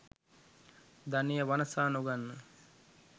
ධනය වනසා නොගන්න.